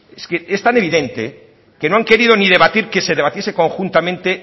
es que es tan evidente que no han querido ni debatir que se debatiese conjuntamente